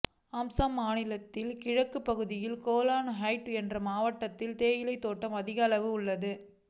அசாம் மாநிலத்தில் கிழக்கு பகுதியில் கோலாஹைட் என்ற மாவட்டத்தில் தேயிலை தோட்டம் அதிகளவில் உள்ளன